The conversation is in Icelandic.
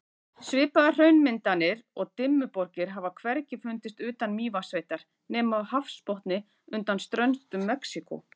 Svipaðar hraunmyndanir og Dimmuborgir hafa hvergi fundist utan Mývatnssveitar nema á hafsbotni undan ströndum Mexíkó.